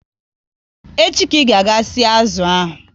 Echi ka ị ga e si azụ ahụ!